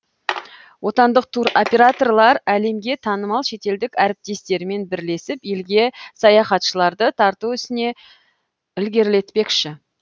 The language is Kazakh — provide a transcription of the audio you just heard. отандық туроператорлар әлемге танымал шетелдік әріптестерімен бірлесіп елге саяхатшыларды тарту ісін ілгерілетпекші